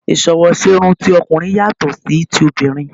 Ìsọwọ́ṣerun ti ọkùnrin yàtọ̀ sí ti obìrin